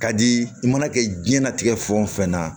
Ka di i mana kɛ jiyɛn latigɛ fɛn o fɛn na